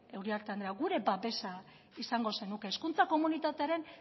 uriarte andrea gure babesa izango zenuke hezkuntza komunitatearen